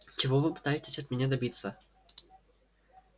чего вы пытаетесь от меня добиться